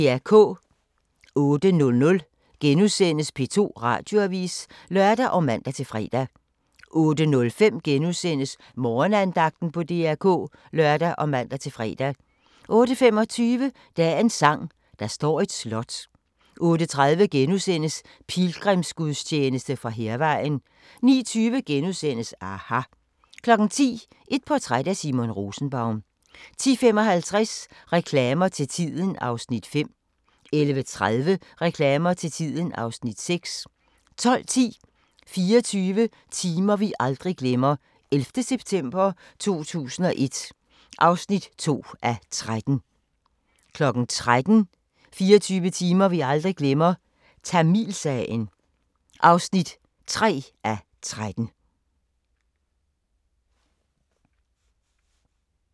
08:00: P2 Radioavis *(lør og man-fre) 08:05: Morgenandagten på DR K *(lør og man-fre) 08:25: Dagens sang: Der står et slot 08:30: Pilgrimsgudstjeneste fra Hærvejen * 09:20: aHA! * 10:00: Et portræt af Simon Rosenbaum 10:55: Reklamer til tiden (Afs. 5) 11:30: Reklamer til tiden (Afs. 6) 12:10: 24 timer vi aldrig glemmer – 11. september 2001 (2:13) 13:00: 24 timer vi aldrig glemmer – Tamilsagen (3:13)